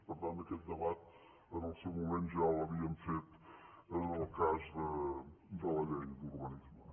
per tant aquest debat en el seu moment ja l’havíem fet en el cas de la llei d’urbanisme